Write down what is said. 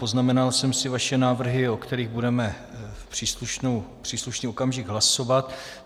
Poznamenal jsem si vaše návrhy, o kterých budeme v příslušný okamžik hlasovat.